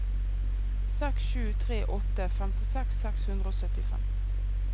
seks sju tre åtte femtiseks seks hundre og syttifem